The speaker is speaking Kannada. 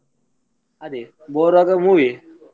ಅದೇ bore ಆಗ್ವಾಗ movie ಯೆ.